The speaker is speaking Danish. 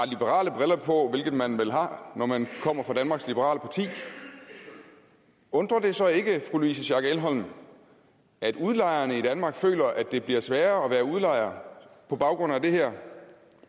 liberale briller på hvilket man vel har når man kommer fra danmarks liberale parti undrer det så ikke fru louise schack elholm at udlejerne i danmark føler at det bliver sværere at være udlejer på baggrund af det her